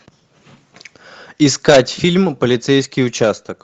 искать фильм полицейский участок